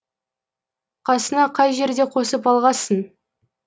қасыңа қай жерде қосып алғасың